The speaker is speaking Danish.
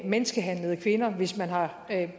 menneskehandlede kvinder hvis man har